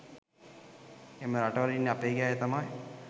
එම රටවල ඉන්න අපගේ අය තමයි